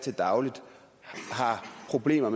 problemer